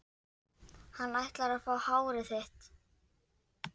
Hann ætlar að fá hárið þitt.